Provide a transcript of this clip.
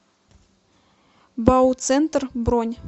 бауцентр бронь